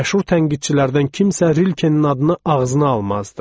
Məşhur tənqidçilərdən kimsə Rilkenin adını ağzına almazdı.